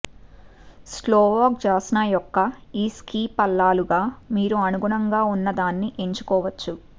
Slovak Jasna యొక్క ఈ ski పల్లాలుగా మీరు అనుగుణంగా ఉన్నదాన్ని ఎంచుకోవచ్చు